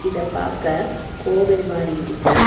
இத பாக்க கோவில் மாரி இருக்கு.